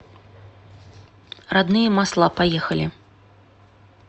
родные масла поехали